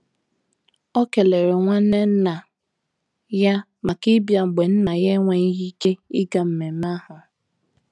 O kelere nwanne nna ya maka ịbia mgbe Nna ya enweghị ike ịga mmemme ahụ.